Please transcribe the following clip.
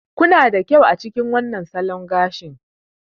Kuna da kyau a cikin wannan salon gashi.